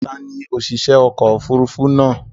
Ta ni òṣìṣẹ́ ọkọ̀-òfurufú náà?